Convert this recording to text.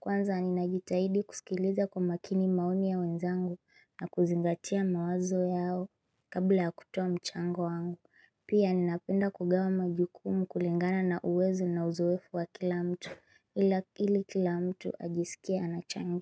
Kwanza ninajitahidi kusikiliza kwa makini maoni ya wenzangu na kuzingatia mawazo yao Kabla ya kutoa mchango wangu, pia ninapenda kugawa majukumu kulingana na uwezo na uzoefu wa kila mtu ili kila mtu ajiskie anachangia.